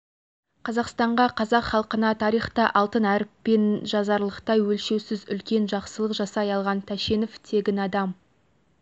қазақстанға қазақ халқына тарихта алтын әріппен жазыларлықтай өлшеусіз үлкен жақсылық жасай алған тәшенов тегін адам